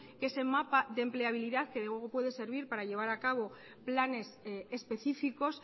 que ese mapa de empleabilidad que luego puede servir para llevar a cabo planes específicos